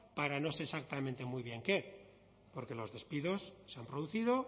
para no sé exactamente muy bien qué porque los despidos se han producido